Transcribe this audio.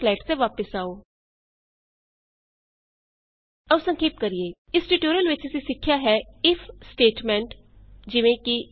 ਆਪਣੇ ਸਲਾਈਡਸ ਤੇ ਵਾਪਸ ਆਉ ਆਉ ਸੰਖੇਪ ਕਰੀਏ ਇਸ ਟਯੂਟੋਰਿਅਲ ਵਿਚ ਅਸੀਂ ਸਿੱਖਿਆ ਹੈ ਆਈਐਫ ਸਟੇਟਮੈਂਟ ਈਜੀ